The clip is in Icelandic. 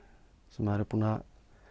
sem maður er búinn að